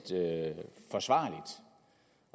forsvarligt